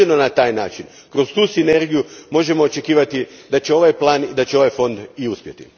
Jedino na taj način, kroz tu sinergiju možemo očekivati da će ovaj plan i da će ovaj fond u uspjeti.